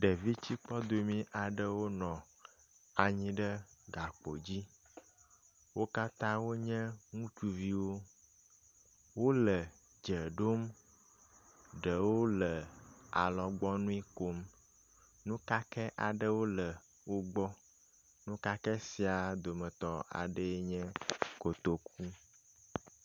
Ɖevitsikpɔdome aɖewo nɔ anyi ɖe gakpo dzi, wo katã wonye ŋutsuviwo. Wole dze ɖom, ɖewo le alɔgbɔ nui kom, nukakɛ aɖewo le wogbɔ. Nukakɛ sia dometɔ aɖee enye kotoku.